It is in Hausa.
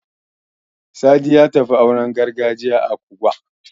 Sadi ya tafi auren gargajiya a Kubuwa.